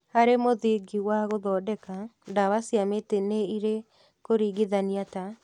Harĩ mũthingi wa gũthondeka, ndawa cia mĩtĩ nĩirĩ kũringithania ta